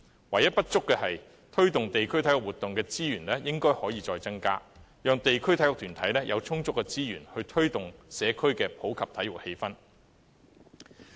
唯一不足的是，推動地區體育活動的資源應可再增加，讓地區體育團體有充足資源，推動社區的普及體育氣氛。